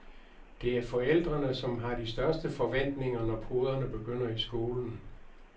Det er forældrene, som har de største forventninger, når poderne begynder i skolen.